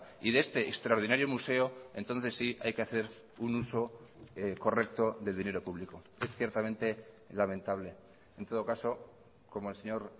y de este extraordinario museo entonces sí hay que hacer un uso correcto del dinero público es ciertamente lamentable en todo caso como el señor